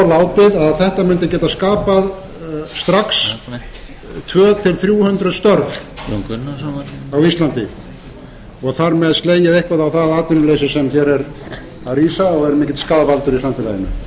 að þetta mundi geta skapað strax tvö hundruð til þrjú hundruð störf á íslandi og þar með slegið eitthvað á það atvinnuleysi sem hér er að rísa og er mikill skaðvaldur